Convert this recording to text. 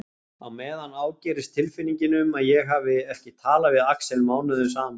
Á meðan ágerist tilfinningin um að ég hafi ekki talað við Axel mánuðum saman.